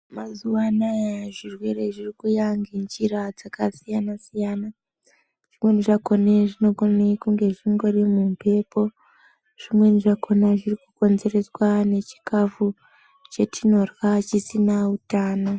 Mazuva anawa zvirwere zviri kuuya nenjira yakasiyana siyana zvimweni zvakona zvinogonxa kunge zviri mumhepo zvimweni zvakona zviri kukonzereswa nechikafu chinenge chisina hutano.